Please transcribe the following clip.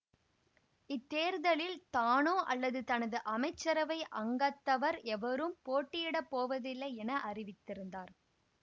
இத்தேர்தலில் தானோ அல்லது தனது அமைச்சரவை அங்கத்தவர் எவரும் போட்டியிடப்போவதில்லை என அறிவித்திருந்தார்